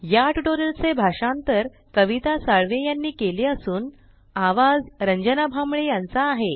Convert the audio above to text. या ट्यूटोरियल चे भाषांतर कविता साळवे यांनी केले असून आवाज रंजना भांबळे यांचा आहे